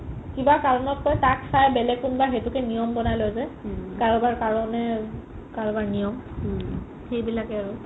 কিবা কাৰণত তই তাক চাই বেলেগ কোনবাই সেইটোকে নিয়ম বনাই লই যে কাৰোবাৰ কাৰণে কাৰোবাৰ নিয়ম সেইবিলাকে আৰু